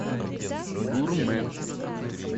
гурме